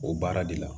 O baara de la